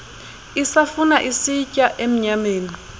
isafuna isitya emnyameni